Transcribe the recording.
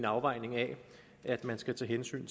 afvejning af at man skal tage hensyn